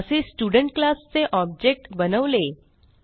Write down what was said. असे student class चे object बनवले